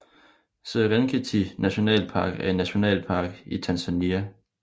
Serengeti nationalpark er en nationalpark i Tanzania